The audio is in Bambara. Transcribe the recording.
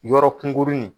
Yɔrɔ kunkurunin